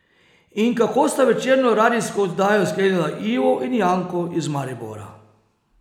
In kako sta večerno radijsko oddajo sklenila Ivo in Janko iz Maribora?